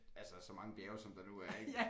Altså så mange bjerge som der nu er ik